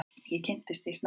Ég kynntist því snemma.